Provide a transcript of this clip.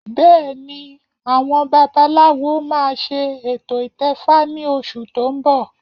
Bẹ́ẹ̀ni àwọn babaláwo máa ṣe ètò ìtẹfa ní oṣù tó ń bọ̀